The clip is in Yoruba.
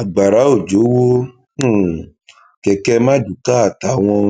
agbára òjò wọ um kẹkẹ marduká àtàwọn